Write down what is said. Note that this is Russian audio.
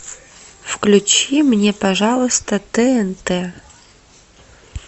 включи мне пожалуйста тнт